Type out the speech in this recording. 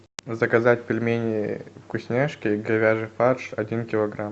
заказать пельмени вкусняшки говяжий фарш один килограмм